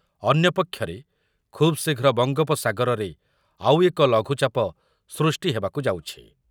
ଅନ୍ୟପକ୍ଷରେ ଖୁବ୍‌ଶୀଘ୍ର ବଙ୍ଗୋପସାଗରରେ ଆଉ ଏକ ଲଘୁଚାପ ସୃଷ୍ଟି ହେବାକୁ ଯାଉଛି ।